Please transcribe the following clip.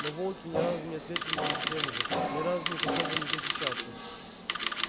но волки ни разу не ответили ей тем же ни разу не попробовали защищаться